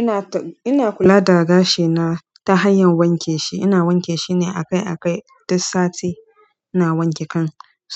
Ina ta-- ina kula da gashi na ta hanyar wanke shi. Ina wanke shi ne akai-akai duk sati, ina wanke kan